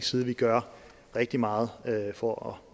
side gør rigtig meget for